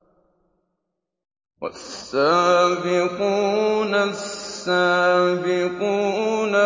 وَالسَّابِقُونَ السَّابِقُونَ